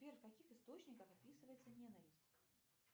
сбер в каких источниках описывается ненависть